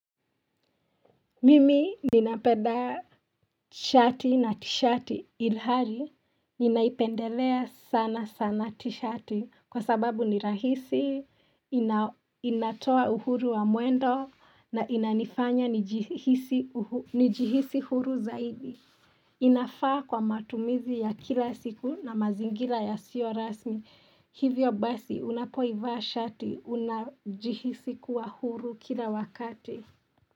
Mimi ninapenda shati na tishati ilhali ninaipendelea sana sana tishati kwa sababu ni rahisi inatoa uhuru wa mwendo na inanifanya nijihisi huru zaidi inafaa kwa matumizi ya kila siku na mazingira yasiyo rasmi hivyo basi unapoivaa shati unajihisi kuwa huru kila wakati.